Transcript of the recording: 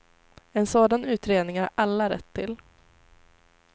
En sådan utredning har alla rätt till.